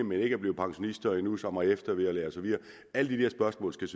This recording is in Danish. men ikke er blevet pensionister endnu og som får eftervederlag og så videre alle de der spørgsmål skal